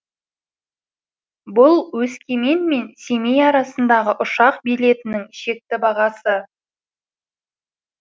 бұл өскемен мен семей арасындағы ұшақ билетінің шекті бағасы